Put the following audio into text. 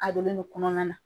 A donnen don kɔnɔna na.